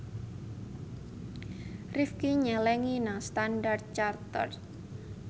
Rifqi nyelengi nang Standard Chartered